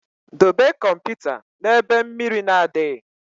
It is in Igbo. Dobe kọmputa na ebe mmiri na adịghị